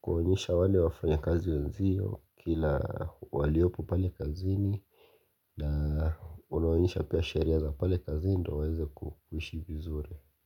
kwa kuonyesha mazingira, kuwajulia hali, kuwasalimia, kuonyesha upendo. Na unawonyesha pia sheria za pale kazini ndio waweze kuishi vizuri.